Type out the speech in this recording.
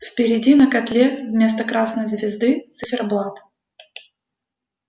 впереди на котле вместо красной звезды циферблат